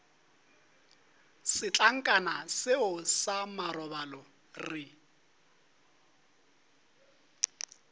setlankana seo sa marobalo re